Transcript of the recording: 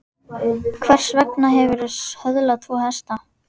Hvers vegna hefurðu söðlað tvo hesta?